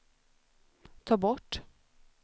ta bort